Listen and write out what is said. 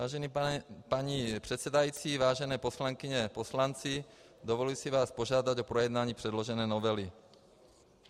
Vážená paní předsedající, vážené poslankyně, poslanci, dovoluji si vás požádat o projednání předložené novely.